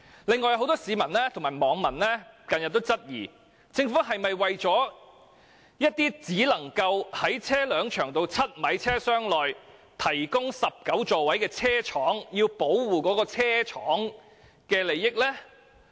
近日很多市民及網民均質疑，政府此舉是否想保護那些只能在車輛長度7米車廂內提供19座位的車廠的利益。